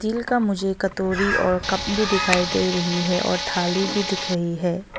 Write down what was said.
Steel का मुझे कतोरी और कप भी दिखाई दे रही है और थाली भी दिख रही है।